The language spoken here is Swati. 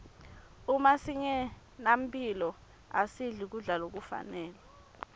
uma singenamphilo asidli kudla lokufanele